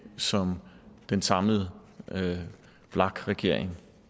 som den samlede vlak regering